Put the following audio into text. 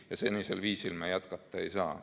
Ja senisel viisil jätkata ei saa.